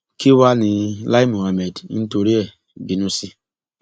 kí wàá ní lai muhammed ń torí ẹ bínú sí